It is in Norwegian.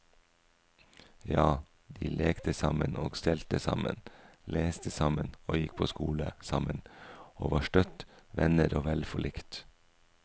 Ja, de lekte sammen og stelte sammen, leste sammen og gikk på skole sammen, og var støtt venner og vel forlikt.